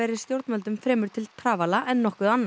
stjórnvöldum fremur til trafala en nokkuð annað